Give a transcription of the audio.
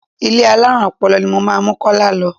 Ilé alárùn ọpọlọ ni mo máa mú Kọ́lá lọ.